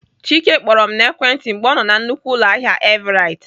Chike kpọrọ m n'ekwentị mgbe ọ nọ na nnukwu ụlọahịa Everite.